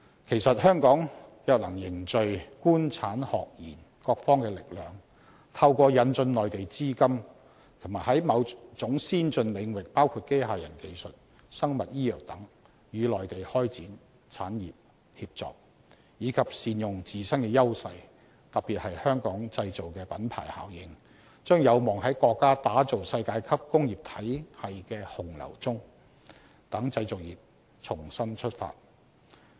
其實，香港若能凝聚官、產、學、研各方的力量，透過引進內地資金及在某種先進領域包括機械人技術、生物醫藥等與內地開展產業協作，以及善用自身的優勢，特別是"香港製造"的品牌效應，將有望在國家打造世界級工業體系的洪流中讓製造業重新出發。